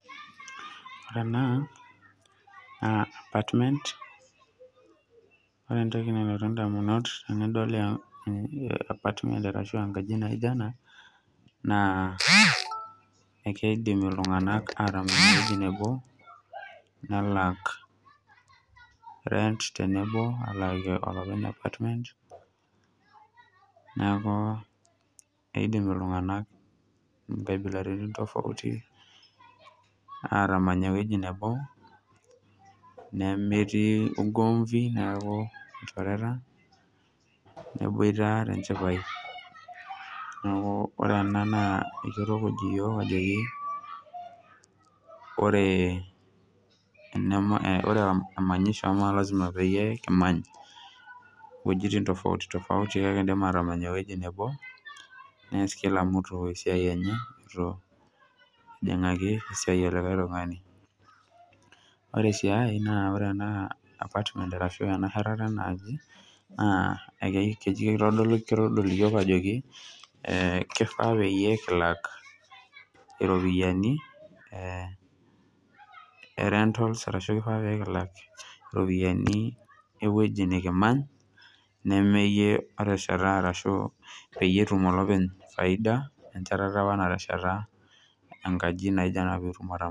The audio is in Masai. Ore ena naa apartment naa ore entoki nalotu ndamunot ainei tenadol enkaji naijio ena naa keidim iltunganak aatamany ewueji nebo nelak rent tenebo alaaki olopeny enkaji. Neaku keidim iltunganak nkabilaritin tofauti aatamany ewueji nebo nemetii ugomvi neaku ilchoreta neboita tenchipae. Niaku ore ena naa ketukuj iyook ajoki ore emanyisho nemelasima peyie kimany iwejitin tofautitofauti kake kindim aatamany ewueji nebo neas kila mtu esiai enye nemetii lojingaki esiai elikae tungani. Ore sii enkae ore ena shetata enaaji naa ketodol iyook ajoki kefaa peyie kilak iropiyiani e rentals ashuu kenare nekilak iropiyiani ewueji nekimany neme iyie otesheta peyie etum olopeny foida ena sheteta apa natesheta apa enkaji naijo ena.